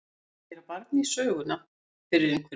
Að gera barn í söguna fyrir einhverjum